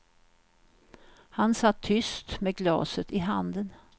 Han satt tyst med glaset i handen.